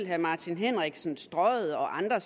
herre martin henriksen selv strøget og andre